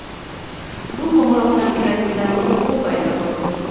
Bu qo‘ng‘iroqdan yuragimda qo‘rquv paydo bo‘ldi.